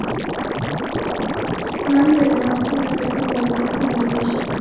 amaliy va innovatsion tadqiqot loyihalarini amalga oshirdi.